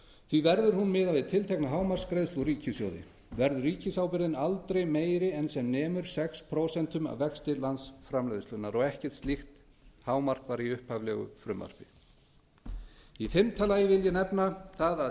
því verður hún miðuð við tiltekna hámarksgreiðslu úr ríkissjóði verður ríkisábyrgðin aldrei meiri en sem nemur sex prósent af vexti landsframleiðslunnar ekkert slíkt hámark var í upphaflegu frumvarpi fimmta sett